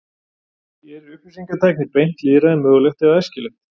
Gerir upplýsingatækni beint lýðræði mögulegt eða æskilegt?